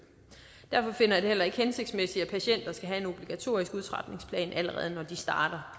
derfor finder jeg det heller ikke hensigtsmæssigt at patienter skal have en obligatorisk udtrapningsplan allerede når de starter